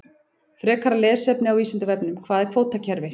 Frekara lesefni á Vísindavefnum: Hvað er kvótakerfi?